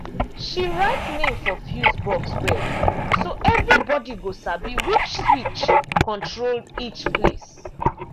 she write name for fuse box well so everybody go sabi which switch control each place.